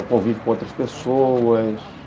O convívio com outras pessoas.